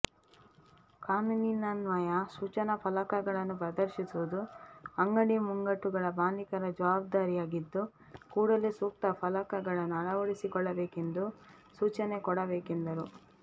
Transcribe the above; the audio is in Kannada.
ಕಾನೂನಿನನ್ವಯ ಸೂಚನಾ ಫಲಕಗಳನ್ನು ಪ್ರದರ್ಶಿಸುವುದು ಅಂಗಡಿ ಮುಂಗಟ್ಟುಗಳ ಮಾಲೀಕರ ಜಾವಾಬ್ದಾರಿಯಾಗಿದ್ದು ಕೂಡಲೇ ಸೂಕ್ತ ಫಲಕಗಳನ್ನು ಅಳವಡಿಸಿಕೊಳ್ಳಬೇಕೆಂದು ಸೂಚನೆ ಕೊಡಬೇಕೆಂದರು